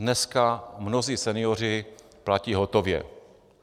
Dneska mnozí senioři platí hotově.